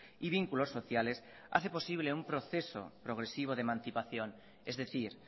y vínculos sociales hace posible un proceso progresivo de emancipación es decir